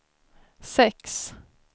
sex